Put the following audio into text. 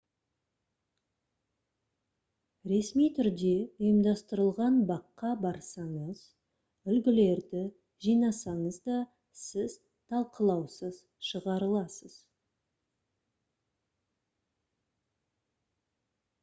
ресми түрде ұйымдастырылған баққа барсаңыз «үлгілерді» жинасаңыз да сіз талқылаусыз шығарыласыз